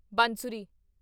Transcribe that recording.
ਬਾਂਸੁਰੀ